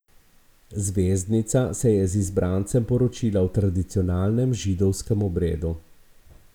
Zvezdnica se je z izbrancem poročila v tradicionalnem židovskem obredu.